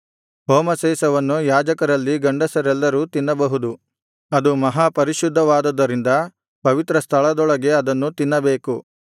ಹೋಮಶೇಷವನ್ನು ಯಾಜಕರಲ್ಲಿ ಗಂಡಸರೆಲ್ಲರೂ ತಿನ್ನಬಹುದು ಅದು ಮಹಾಪರಿಶುದ್ಧವಾದುದರಿಂದ ಪವಿತ್ರಸ್ಥಳದೊಳಗೆ ಅದನ್ನು ತಿನ್ನಬೇಕು